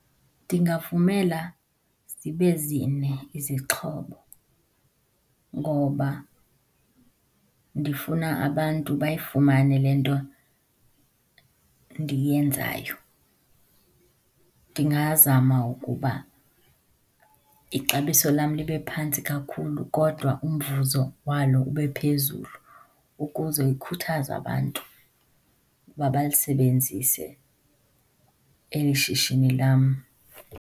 Ndingavumela zibe zine izixhobo ngoba ndifuna abantu bayifumane le nto ndiyenzayo. Ndingazama ukuba ixabiso lam libe phantsi kakhulu kodwa umvuzo walo ube phezulu, ukuze ikhuthaze abantu uba balisebenzise eli shishini lam.